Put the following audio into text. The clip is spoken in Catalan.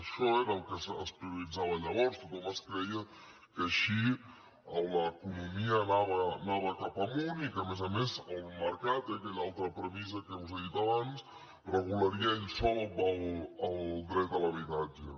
això era el que es prioritzava llavors tothom es creia que així l’economia anava cap amunt i que a més a més el mercat aquella altra premissa que us he dit abans regularia ell sol el dret a l’habitatge